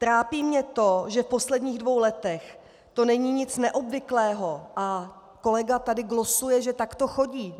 Trápí mě to, že v posledních dvou letech to není nic neobvyklého a kolega tady glosuje, že tak to chodí.